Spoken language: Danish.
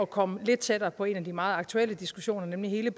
komme lidt tættere på en af de meget aktuelle diskussioner nemlig hele